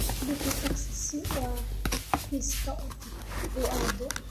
bixi taksi si uu xafiiska u aado